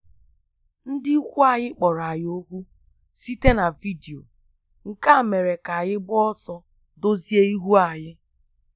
Ndi ikwụ anyi kpọrọ anyi okwụ site na vidio, nke a mere ka anyi gba ọsọ dozie ihu anyi